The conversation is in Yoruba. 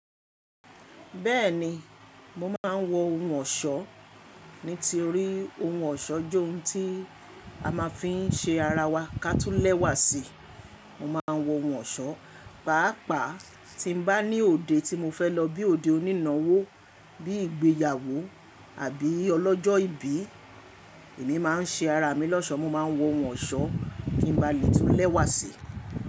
Bẹ́ẹ̀ni, mo máa ń wọ ohun ọ̀ṣọ́, nítori ohun ọ̀ṣọ́ jẹ́ ohun tí a máa fi ń ṣe ara wa ká tún lẹ́wà sí i. Mo máa ń wọ ohun ọ̀ṣọ́, pàápàá tí n bá ní òde tí mo fẹ́ lọ bí i òde onínáwó, bí i ìgbéyàwó àbí ọlọ́jọ́ ìbí, èmi máa ń ṣe ara mi lọ́ṣọ̀ọ́, mo máa ń wọ ohun ọ̀ṣọ́ kí n ba lè tún lẹ́wà sí i.